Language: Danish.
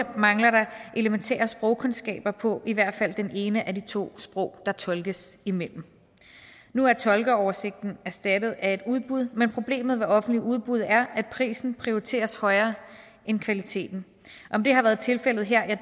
elementære sprogkundskaber på i hvert fald det ene af de to sprog der tolkes imellem nu er tolkeoversigten erstattet af et udbud men problemet ved offentligt udbud er at prisen prioriteres højere end kvaliteten om det har været tilfældet her